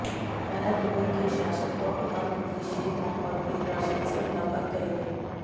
वह दुबई के शासक और प्रधानमंत्री शेख मोहम्मद बिन राशिद से मुलाकात करेंगे